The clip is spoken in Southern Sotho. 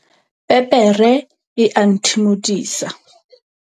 Pepere e a nthimodisa.